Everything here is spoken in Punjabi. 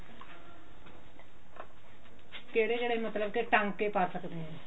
ਕਿਹੜੇ ਕਿਹੜੇ ਮਤਲਬ ਕਿ ਟਾਂਕੇ ਆ ਸਕਦੇ ਹਾਂ